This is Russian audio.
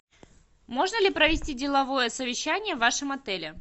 можно ли провести деловое совещание в вашем отеле